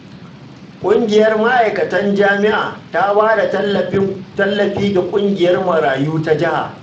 Ƙungiyar ma'aikatan jami'a ta ba da tallafi ga ƙungiyar marayu ta jiha